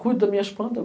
Cuido das minhas planta.